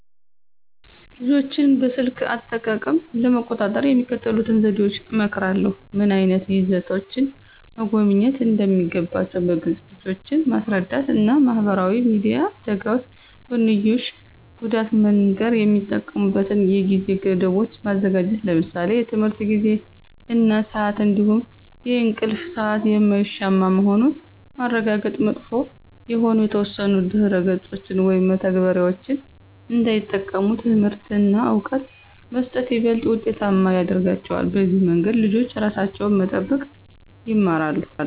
ልጆችን በስልክ አጠቃቀም ለመቆጣጠር የሚከተሉትን ዘዴዎች እመክራለሁ። ምን ዓይነት ይዘቶችን መጎብኘት እንደሚገባቸው በግልፅ ልጆችን ማስረዳት እና የማህበራዊ ሚዲያ አደጋዎች ጎንዮሽ ጉዳት መንገር። የሚጠቀሙበትን የጊዜ ገደቦች ማዘጋጀት ለምሳሌ የትምህርት ጊዜ እና ስአት እንዲሁም የእንቅልፍ ሰአት የማይሻማ መሆኑን ማረጋገጥ። መጥፎ የሆኑ የተወሰኑ ድረ-ገጾችን ወይም መተግበሪያዎችን እንዳይጠቀሙ ትምህርት እና እውቀት መስጠት ይበልጥ ውጤታማ ያረጋቸዋል። በዚህ መንገድ ልጆች ራሳቸውን መጠበቅ ይማራሉ።